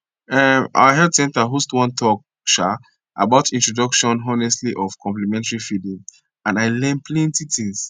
um our health center host one talk um about introduction honestly of complementary feeding and i learn plenty things